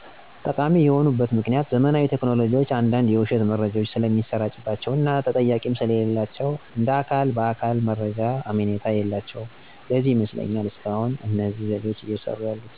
ጠቃሚ የሆኑበት ምክኒያት ዘመናዊ ቴክኖሎጂዎች አንዳንድ የዉሸት መረጃዎች ስለሚሰራጭባቸዉ እና ተጠያቂም ስለሌላቸዉ እንደ አካል በአካሎ መረጃዎች አመኔታ የላቸዉም ለዚህ ይመስለኛል እስካሁን እነዚህ ዘዴዎች እየሰሩ ያሉት።